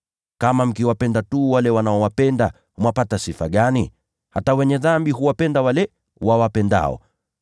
“Kama mkiwapenda tu wale wanaowapenda, mwapata sifa gani? Hata ‘wenye dhambi’ huwapenda wale wawapendao.